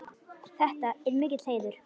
Þetta er mikill heiður.